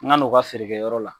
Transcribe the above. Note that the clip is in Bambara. N ka na o ka feerekɛyɔrɔ la.